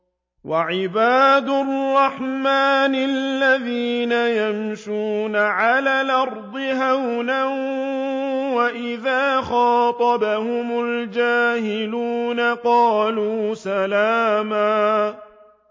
وَعِبَادُ الرَّحْمَٰنِ الَّذِينَ يَمْشُونَ عَلَى الْأَرْضِ هَوْنًا وَإِذَا خَاطَبَهُمُ الْجَاهِلُونَ قَالُوا سَلَامًا